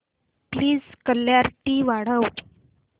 please clarity वाढव